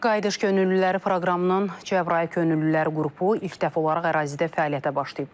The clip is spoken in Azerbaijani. Qayıdış könüllüləri proqramının Cəbrayıl könüllülər qrupu ilk dəfə olaraq ərazidə fəaliyyətə başlayıb.